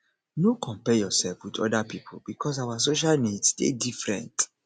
no compare yourself with oda pipo because our social needs dey different